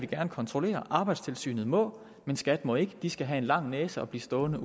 gerne kontrollere arbejdstilsynet må men skat må ikke de skal have en lang næse og blive stående